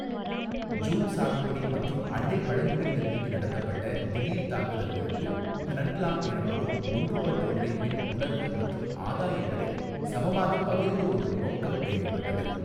Zoom சாகுபடி மற்றும் அண்டை பழங்குடியினர் மீது நடத்தப்பட்ட திடீர்த்தாக்குதல்களுக்கு ஹ்னட்லாங் எனப்படும் ஒன்றுபட்ட உழைப்பின் உணர்வு மற்றும் ஆதாயங்களை சமமாகப் பகிர்ந்து கொள்ளும் நோக்கம் தேவைப்பட்டது.